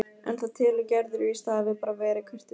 En það telur Gerður víst að hafi bara verið kurteisi.